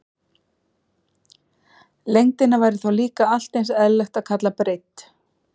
Lengdina væri þá líka allt eins eðlilegt að kalla breidd.